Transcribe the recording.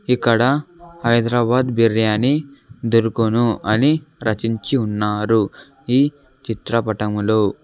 ఇక్కడ హైదరాబాద్ బిర్యానీ దొరుకును అని రచించి ఉన్నారు ఈ చిత్ర పటములో.